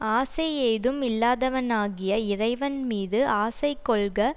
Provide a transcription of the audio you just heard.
ஆசை ஏதும் இல்லாதவனாகிய இறைவன் மீது ஆசை கொள்க